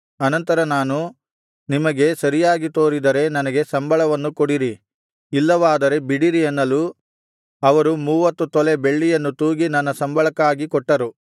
ಅನಂತರ ನಾನು ನಿಮಗೆ ಸರಿಯಾಗಿ ತೋರಿದರೆ ನನಗೆ ಸಂಬಳವನ್ನು ಕೊಡಿರಿ ಇಲ್ಲವಾದರೆ ಬಿಡಿರಿ ಅನ್ನಲು ಅವರು ಮೂವತ್ತು ತೊಲೆ ಬೆಳ್ಳಿಯನ್ನು ತೂಗಿ ನನ್ನ ಸಂಬಳಕ್ಕಾಗಿ ಕೊಟ್ಟರು